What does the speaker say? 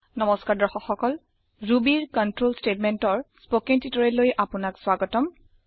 নমস্কাৰ দৰ্শক সকল Rubyৰ কনট্ৰল ষ্টেটমেন্টৰ স্পকেন টিউটৰিয়েল লৈ আপোনাক স্ৱাগতম